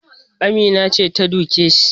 Amina ce ta duke shi